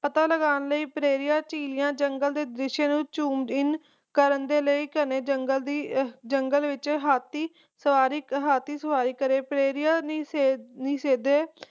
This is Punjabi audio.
ਪਤਾ ਲਗਾਂ ਲਈ ਪ੍ਰੇਰਿਆਂ ਜੰਗਲ ਦੇ ਦ੍ਰਿਸਹੇ ਨੂੰ ਕਰਨ ਦੇ ਲਈ ਘਣੇ ਜੰਗਲ ਦੀ ਜੰਗਲ ਵਿਚ ਹਾਥੀ ਹਾਥੀ ਸਵਾਰੀ ਕਰੇ ਪ੍ਰੇਰਿਆਂ ਲਈ